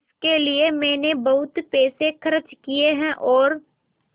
इसके लिए मैंने बहुत पैसे खर्च किए हैं और